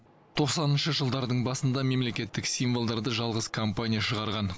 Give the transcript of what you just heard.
тоқсаныншы жылдардың басында мемлекеттік символдарды жалғыз компания шығарған